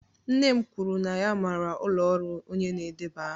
Nne m kwuru na ya maara ụlọ ọrụ onye na-edeba aha